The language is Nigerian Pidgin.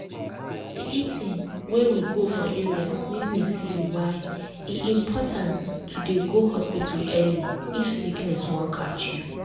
the eeting wey we go for area make me see why e important to dey go hospital early if sickness wan catch me.